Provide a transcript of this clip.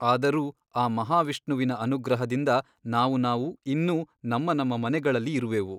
ಅದರೂ ಆ ಮಹಾವಿಷ್ಣುವಿನ ಅನುಗ್ರಹದಿಂದ ನಾವು ನಾವು ಇನ್ನೂ ನಮ್ಮ ನಮ್ಮ ಮನೆಗಳಲ್ಲಿ ಇರುವೆವು.